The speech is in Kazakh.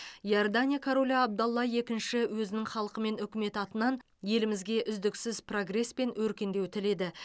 иордания королі абдалла екінші өзінің халқы мен үкіметі атынан елімізге үздіксіз прогресс пен өркендеу тіледі